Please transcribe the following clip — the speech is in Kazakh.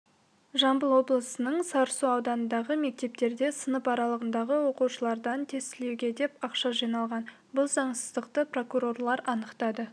жамбыл облысының сарысу ауданындағы мектептерде сынып аралығындағы оқушылардан тестілеуге деп ақша жиналған бұл заңсыздықты прокурорлар анықтады